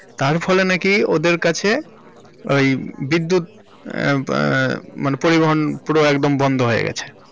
তার ফলে নাকি ওদের কাছে ওই বিদ্যুৎ এহঃ ম মানে পরিবহন পুরো একদম বন্ধ হয়ে গেছে।